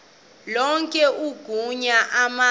lonke igunya emazulwini